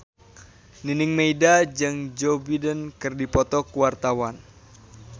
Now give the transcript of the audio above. Nining Meida jeung Joe Biden keur dipoto ku wartawan